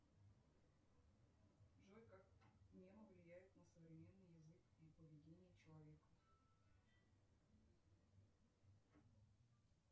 джой как мемы влияют на современный язык и поведение человека